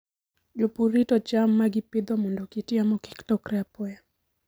Jopur rito cham ma gipidho mondo kit yamo kik lokre apoya.